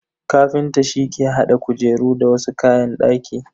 Kafinta shi ke hada kujeru da wasu kayan daki.